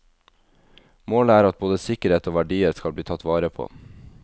Målet er at både sikkerhet og verdier skal bli tatt vare på.